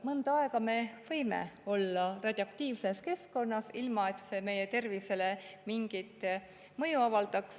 Mõnda aega me võime olla radioaktiivses keskkonnas, ilma et see meie tervisele mingit mõju avaldaks.